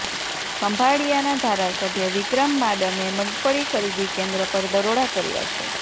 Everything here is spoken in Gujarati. ખંભાળિયાના ધારાસભ્ય વિક્રમ માડમે મગફળી ખરીદી કેન્દ્ર પર દરોડા કર્યા છે